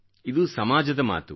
ಇದು ಸಮಾಜದ ಮಾತು